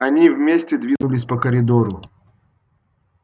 они вместе двинулись по коридору